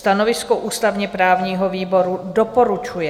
Stanovisko ústavně-právního výboru: doporučuje.